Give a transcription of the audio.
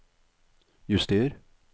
juster